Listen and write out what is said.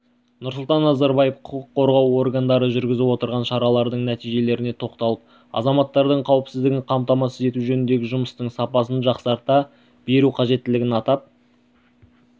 нұрсұлтан назарбаев құқық қорғау органдары жүргізіп отырған шаралардың нәтижелеріне тоқталып азаматтардың қауіпсіздігін қамтамасыз ету жөніндегі жұмыстың сапасын жақсарта беру қажеттілігін атап